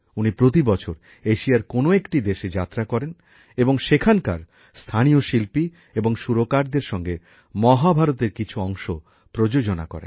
উনি প্রতিবছর এশিয়ার কোন একটি দেশে যাত্রা করেন এবং সেখানকার স্থানীয় শিল্পী এবং সুরকারদের সঙ্গে মহাভারতের কিছু অংশ প্রযোজনা করেন